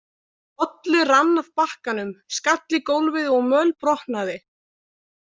Bolli rann af bakkanum, skall í gólfið og mölbrotnaði.